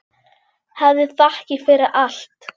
Hafðu þakkir fyrir allt.